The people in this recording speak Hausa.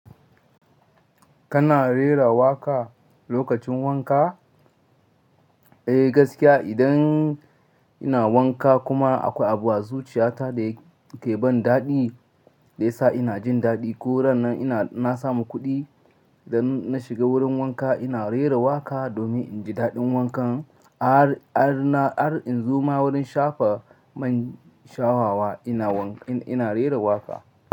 Kana rera waƙa lokacin wanka? Eh gaskiya idan ina wanka kuma akwai abu a zuciyata da ke ban daɗi da ya sa ina jin daɗi ko ran na samu kuɗi. Da na shiga wurin wanka ina rera waƙa domin in ji daɗin wankan. Har in zo ma wurin shafa man shafawa ina rera waƙa.